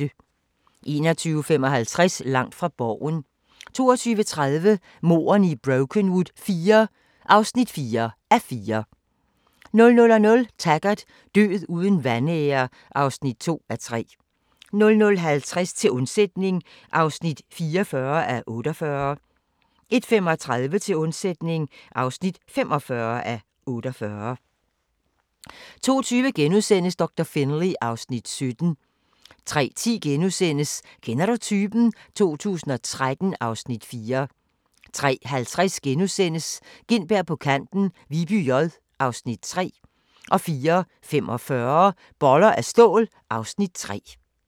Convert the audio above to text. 21:55: Langt fra Borgen 22:30: Mordene i Brokenwood IV (4:4) 00:00: Taggart: Død uden vanære (2:3) 00:50: Til undsætning (44:48) 01:35: Til undsætning (45:48) 02:20: Doktor Finlay (Afs. 17)* 03:10: Kender du typen? 2013 (Afs. 4)* 03:50: Gintberg på kanten – Viby J (Afs. 3)* 04:45: Boller af stål (Afs. 3)